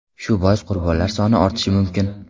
Shu bois qurbonlar soni ortishi mumkin.